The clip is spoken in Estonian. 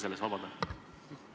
Palun vabandust!